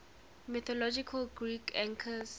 mythological greek archers